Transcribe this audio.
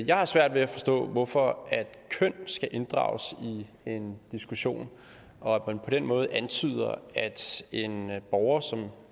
jeg har svært ved at forstå hvorfor køn skal inddrages i en diskussion og at man på den måde antyder at en borger som